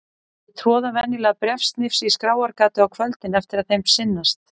Þau troða venjulega bréfsnifsi í skráargatið á kvöldin eftir að þeim sinnast.